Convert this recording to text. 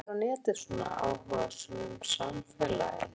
Ég hélt að þig langaði að læra á netið, svona áhugasöm um samfélagið.